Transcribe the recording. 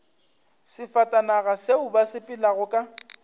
sefatanaga seo ba sepelago ka